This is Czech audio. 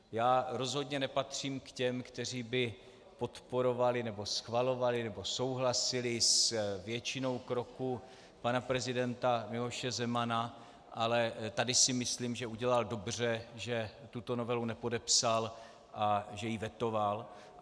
Já rozhodně nepatřím k těm, kteří by podporovali nebo schvalovali nebo souhlasili s většinou kroků pana prezidenta Miloše Zemana, ale tady si myslím, že udělal dobře, že tuto novelu nepodepsal a že ji vetoval.